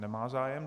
Nemá zájem.